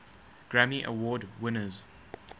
grammy award winners